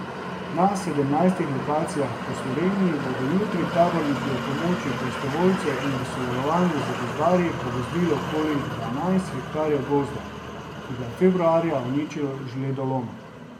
Na sedemnajstih lokacijah po vsej Sloveniji bodo jutri taborniki ob pomoči prostovoljcev in v sodelovanju z gozdarji pogozdili okoli dvanajst hektarjev gozda, ki ga je februarja uničil žledolom.